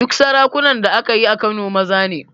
Duk sarakunan da aka yi a Kano maza ne